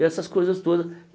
E essas coisas todas.